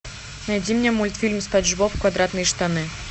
найди мне мультфильм спанч боб квадратные штаны